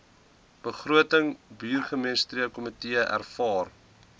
begroting burgemeesterskomitee aanvaar